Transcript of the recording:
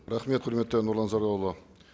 рахмет құрметті нұрлан зайроллаұлы